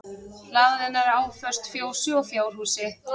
Hlaðan er áföst fjósi og fjárhúsi